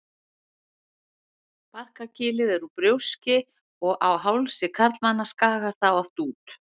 Barkakýlið er úr brjóski og á hálsi karlmanna skagar það oft út.